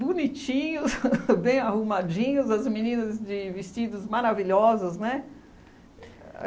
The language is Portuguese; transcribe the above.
bonitinhos, bem arrumadinhos, as meninas de vestidos maravilhosos, né?